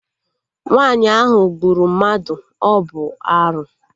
Nwaanyi ahụ gburu mmadụ, ọ bụ arụ